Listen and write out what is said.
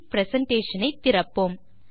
presentation ஐத் திறப்போம்